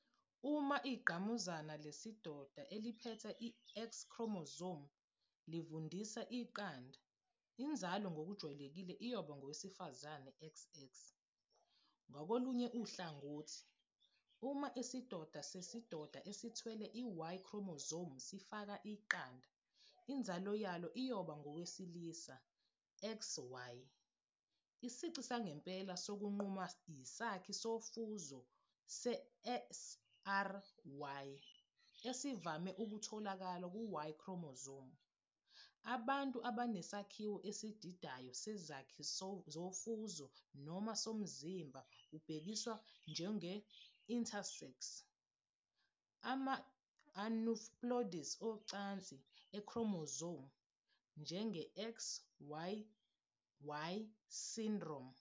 Uma ingqamuzana lesidoda eliphethe i-X chromosome livundisa iqanda, inzalo ngokujwayelekile iyoba ngowesifazane, XX. Ngakolunye uhlangothi, uma isidoda sesidoda esithwele i-Y chromosome sifaka iqanda, inzalo iyoba ngowesilisa, XY. Isici sangempela sokunquma yisakhi sofuzo se-SRY, esivame ukutholakala ku-Y chromosome. Abantu abanesakhiwo esididayo sezakhi zofuzo noma somzimba kubhekiswa kubo njenge-intersex. Ama-aneuploidies ocansi e-chromosome, njenge-XYY syndrome